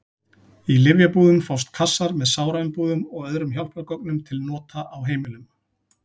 Í lyfjabúðum fást kassar með sáraumbúðum og öðrum hjálpargögnum til nota á heimilum.